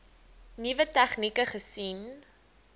nuwe tegnieke gesien